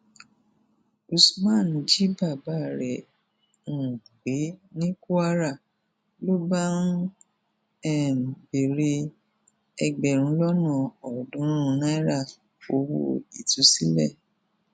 usman jí bàbá rẹ um gbé ní kwara ló bá ń um béèrè ẹgbẹrún lọnà ọọdúnrún náírà owó ìtúsílẹ